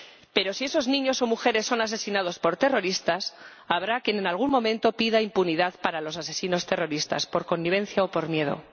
Pero, si esos niños o mujeres son asesinados por terroristas, habrá quien en algún momento pida impunidad para los asesinos terroristas por connivencia o por miedo.